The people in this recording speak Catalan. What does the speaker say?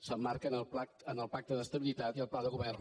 s’emmarca en el pacte d’estabilitat i el pla de govern